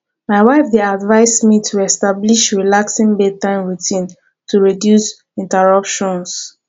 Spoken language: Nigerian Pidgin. my wife dey advise me to establish relaxing bedtime routine to reduce interruptions